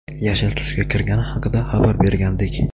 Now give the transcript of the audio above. yashil tusga kirgani haqida xabar bergandik.